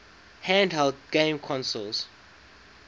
handheld game consoles